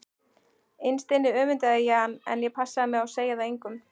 Innst inni öfundaði ég hann en ég passaði mig á að segja það engum.